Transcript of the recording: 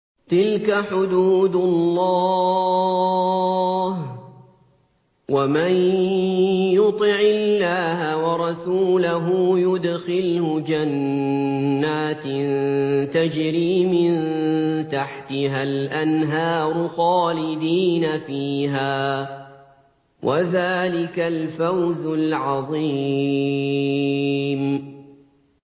تِلْكَ حُدُودُ اللَّهِ ۚ وَمَن يُطِعِ اللَّهَ وَرَسُولَهُ يُدْخِلْهُ جَنَّاتٍ تَجْرِي مِن تَحْتِهَا الْأَنْهَارُ خَالِدِينَ فِيهَا ۚ وَذَٰلِكَ الْفَوْزُ الْعَظِيمُ